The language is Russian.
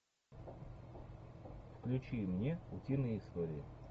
включи мне утиные истории